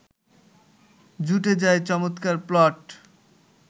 জুটে যায় চমৎকার প্লট